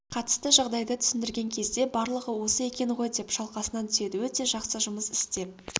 қатысты жағдайды түсіндірген кезде барлығы осы екен ғой деп шалқасынан түседі өте жақсы жұмыс істеп